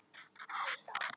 Það bar engan árangur.